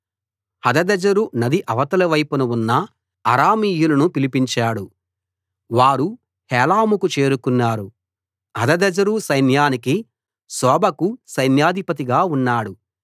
హదదెజరు నది అవతలి వైపున ఉన్న అరామీయులను పిలిపించాడు వారు హేలాముకు చేరుకున్నారు హదదెజరు సైన్యానికి షోబకు సైన్యాధిపతిగా ఉన్నాడు